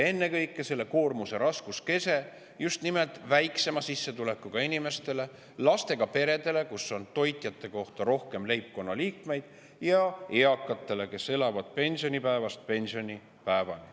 Ennekõike on selle koormuse raskuskese just nimelt väiksema sissetulekuga inimestel, lastega peredel, kus on toitjate kohta rohkem leibkonna liikmeid, ja eakatel, kes elavad pensionipäevast pensionipäevani.